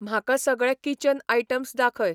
म्हाका सगळे kitchen items दाखय